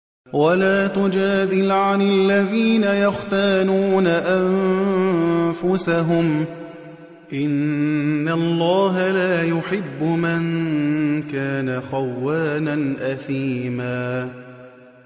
وَلَا تُجَادِلْ عَنِ الَّذِينَ يَخْتَانُونَ أَنفُسَهُمْ ۚ إِنَّ اللَّهَ لَا يُحِبُّ مَن كَانَ خَوَّانًا أَثِيمًا